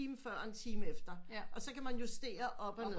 Time før og en time efter og så kan man justere op og ned